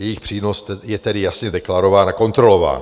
Jejich přínos je tedy jasně deklarován a kontrolován.